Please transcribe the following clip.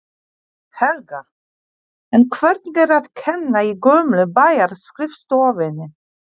Helga: En hvernig er að kenna í gömlu bæjarskrifstofunni?